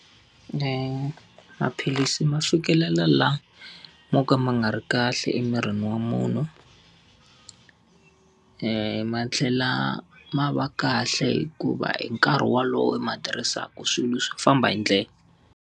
maphilisi ma fikelela laha mo ka ma nga ri kahle emirini wa munhu, ma tlhela ma va kahle hikuva hi nkarhi wolowo i ma tirhisaka swilo swo famba hi ndlela.